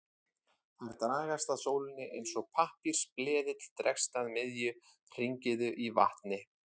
Þær dragast að sólinni eins og pappírsbleðill dregst að miðju hringiðu í vatni.